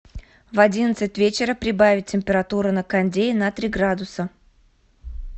в одиннадцать вечера прибавить температуру на кондее на три градуса